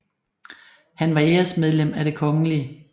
Han var æresmedlem af det kgl